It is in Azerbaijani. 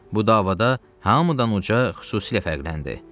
Bu davada Hamıdanuca xüsusilə fərqləndi.